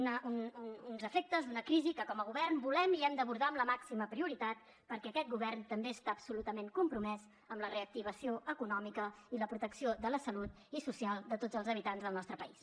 uns efectes d’una crisi que com a govern volem i hem d’abordar amb la màxima prioritat perquè aquest govern també està absolutament compromès amb la reactivació econòmica i la protecció de la salut i social de tots els habitants del nostre país